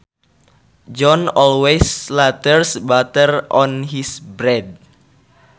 John always slathers butter on his bread